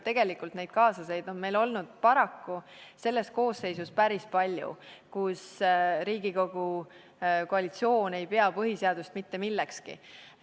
Tegelikult on neid kaasusi meil olnud selles koosseisus paraku päris palju, kus Riigikogu koalitsioon ei pea põhiseadust mitte millekski.